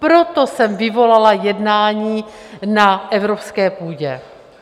Proto jsem vyvolala jednání na evropské půdě.